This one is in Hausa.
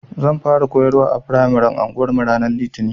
Zan fara koyarwa a firamaren anguwarmu ranar Litinin.